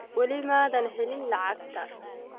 Wali maadan helin lacagta?